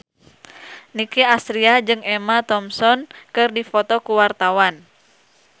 Nicky Astria jeung Emma Thompson keur dipoto ku wartawan